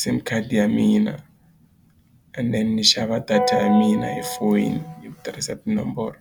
sim card ya mina and then ni xava data ya mina hi foyini hi ku tirhisa tinomboro.